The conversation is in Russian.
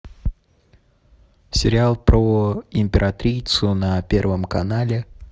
сериал про императрицу на первом канале